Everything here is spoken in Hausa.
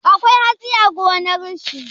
Akwai hatsi a gonar shi?